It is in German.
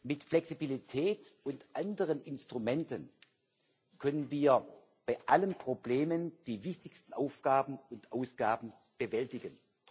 Mit Flexibilität und anderen Instrumenten können wir bei allen Problemen die wichtigsten Aufgaben und Ausgaben bewältigen.